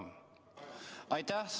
Jah, palun!